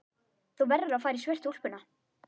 Þú verður að fara í svörtu úlpuna.